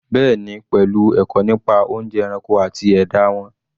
Bẹ́ẹ̀ni, pelu ẹ̀kọ́ nípa oúnjẹ ẹranko àti ẹ̀dá won